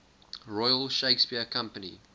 royal shakespeare company